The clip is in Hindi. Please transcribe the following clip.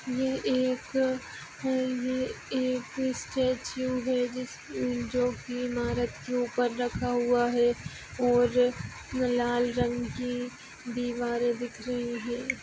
ये एक ये एक अ एक ईस्टैच्यू है जिस अ ह म जो की इमारत के उपरा रखा हुआ है और न लाल रंग की दिवारे दिख रही है।